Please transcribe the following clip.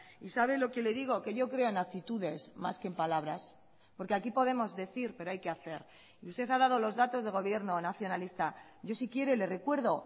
y sabe lo que le digo que yo creo en actitudes más que en palabras porque aquí podemos decir pero hay que hacer y usted ha dado los datos de gobierno nacionalista yo si quiere le recuerdo